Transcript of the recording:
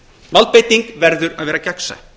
valdbeiting verður að vera gegnsæ